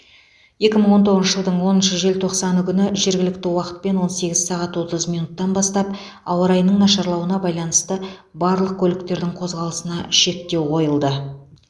екі мың он тоғызыншы жылдың оныншы желтоқсаны күні жергілікті уақытпен он сегіз сағат отыз минуттан бастап ауа райының нашарлауына байланысты барлық көліктердің қозғалысына шектеу қойылды